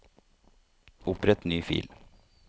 Opprett ny fil